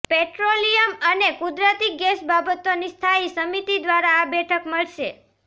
petroleum અને કુદરતી gas બાબતોની સ્થાયી સમિતિ દ્વારા આ બેઠક મળશે